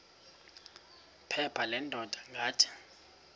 phepha leendaba ngathi